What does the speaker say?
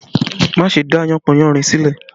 Má ṣe dá yánpọnyánrin sílẹ̀!